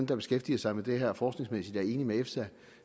der beskæftiger sig med det her forskningsmæssigt er enige med efsa